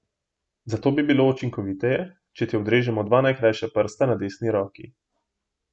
Zato bi bilo učinkoviteje, če ti odrežemo dva najkrajša prsta na desni roki.